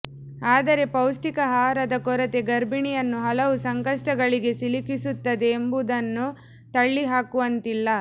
ಆದರೆ ಪೌಷ್ಠಿಕ ಆಹಾರದ ಕೊರತೆ ಗರ್ಭೀಣಿಯನ್ನು ಹಲವು ಸಂಕಷ್ಠಗಳಿಗೆ ಸಿಲುಕಿಸುತ್ತದೆ ಎಂಬುದನ್ನು ತಳ್ಳಿಹಾಕುವಂತಿಲ್ಲ